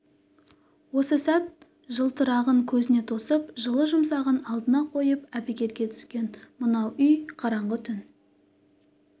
осы сәт жылтырағын көзіне тосып жылы-жұмсағын алдына қойып әбігерге түскен мынау үй қараңғы түн